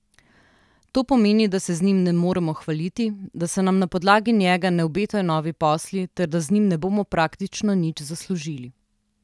To pomeni, da se z njim ne moremo hvaliti, da se nam na podlagi njega ne obetajo novi posli ter da z njim ne bomo praktično nič zaslužili.